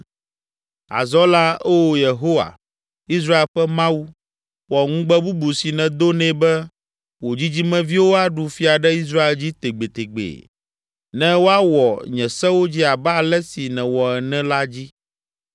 “Azɔ la, Oo Yehowa, Israel ƒe Mawu, wɔ ŋugbe bubu si nèdo nɛ be, ‘Wò dzidzimeviwo aɖu fia ɖe Israel dzi tegbetegbe ne woawɔ nye sewo dzi abe ale si nèwɔ ene,’ la dzi.